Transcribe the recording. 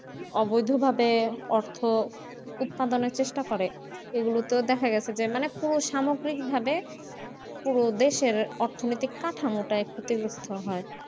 অবৈধভাবে অর্থ উৎপাদনের চেষ্টা করে এগুলো তেও দেখা গেছে মানে পুরো সামগ্রিকভাবে পুরো দেশের অর্থনীতি কাঠামোটা ক্ষতিগ্রস্থ হয়।